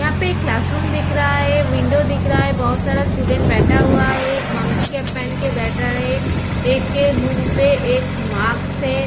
यहाँ पे class room दिख रहा है विंडो दिख रहा है बहोत सारा स्टूडेंट बैठा हुआ है एक मंकी केप पेहन के बैठा हुआ है एक के मुँह पे मास्क है।